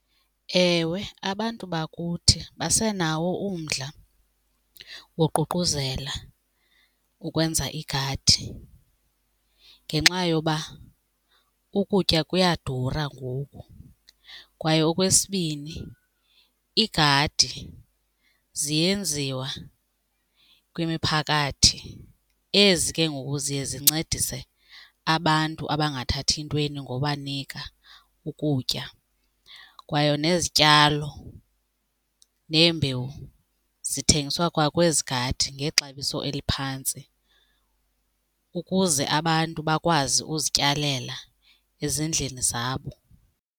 Ewe, abantu bakuthi basenawo umdla woququzela ukwenza igadi ngenxa yoba ukutya kuyadura ngoku. Kwaye okwesibini iigadi ziyenziwa kwimiphakathi ezi ke ngoku ziye zincedise abantu abangathathi ntweni ngobanika ukutya. Kwaye nezityalo neembewu zithengiswa kwa kwezi gadi ngexabiso eliphantsi ukuze abantu bakwazi uzityalela ezindlini zabo.